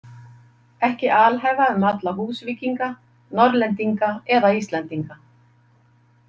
Ekki alhæfa um alla Húsvíkinga, Norðlendinga eða Íslendinga.